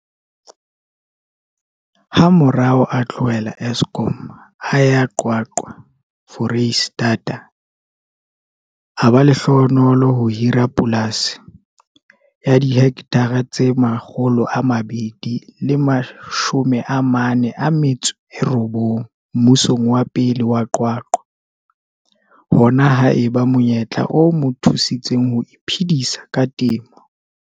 Hamorao a tlohela Eskom, a ya QwaQwa, Foreisetata. A ba lehlohonolo ho hira polasi ya dihekthara tse 249 mmusong wa pele wa QwaQwa. Hona ha eba monyetla o mo thusitseng ho iphedisa ka temo.